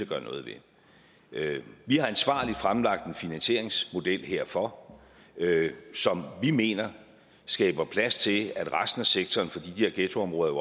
gøre noget ved vi har ansvarligt fremlagt en finansieringsmodel herfor som vi mener skaber plads til at resten af sektoren for de der ghettoområder er